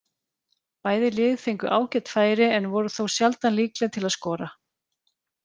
Bæði lið fengu ágæt færi en voru þó sjaldan líkleg til að skora.